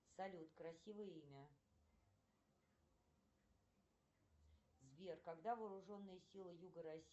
салют красивое имя сбер когда вооруженные силы юга россии